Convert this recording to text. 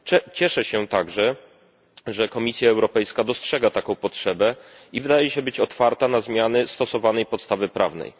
Cieszę się także, że Komisja Europejska dostrzega taką potrzebę i wydaje się otwarta na zmiany stosowanej podstawy prawnej.